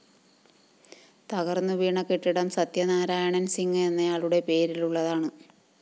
തകര്‍ന്നു വീണ കെട്ടിടം സത്യനാരായണന്‍ സിംഗ് എന്നയാളുടെ പേരിലുള്ളതാണ്